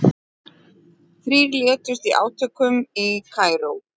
Þrír létust í átökum í Kaíró